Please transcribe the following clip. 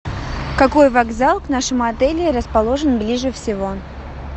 какой вокзал к нашему отелю расположен ближе всего